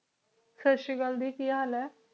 ਸਾਸਰੀ ਕਾਲ ਜੀ ਕੀ ਹਾਲ ਆਯ